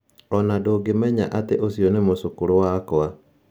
O na ndũngĩmenya atĩ ũcio nĩ mũcũkũrũ wakwa.